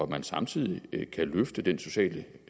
man samtidig kan løfte den sociale